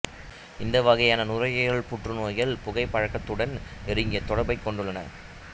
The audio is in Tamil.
இந்த வகையான நுரையீரல் புற்றுநோய்கள் புகைப்பழக்கத்துடன் நெருங்கிய தொடர்பைக் கொண்டுள்ளன